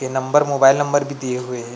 ए number mobile number भी दिए हुए हे।